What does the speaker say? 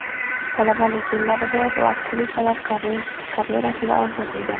Talabalik yillaridayoq u aktrisalik karyerasini orzu qilgan.